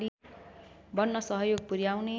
बन्न सहयोग पुर्‍याउने